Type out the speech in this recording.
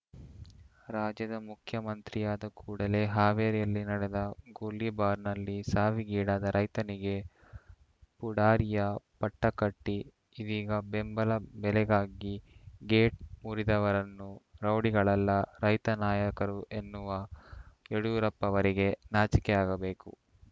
ರಾಜ್ಯದ ಮುಖ್ಯಮಂತ್ರಿಯಾದ ಕೂಡಲೇ ಹಾವೇರಿಯಲ್ಲಿ ನಡೆದ ಗೋಲಿಬಾರ್‌ನಲ್ಲಿ ಸಾವಿಗೀಡಾದ ರೈತನಿಗೆ ಪುಡಾರಿಯ ಪಟ್ಟಕಟ್ಟಿಇದೀಗ ಬೆಂಬಲ ಬೆಲೆಗಾಗಿ ಗೇಟ್‌ ಮುರಿದವರನ್ನು ರೌಡಿಗಳಲ್ಲ ರೈತ ನಾಯಕರು ಎನ್ನುವ ಯಡಿಯೂರಪ್ಪವರಿಗೆ ನಾಚಿಕೆ ಆಗಬೇಕು